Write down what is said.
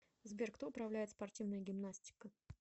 сбер кто управляет спортивная гимнастика